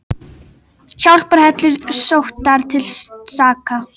Hjálparhellur sóttar til saka